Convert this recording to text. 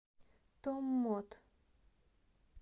томмот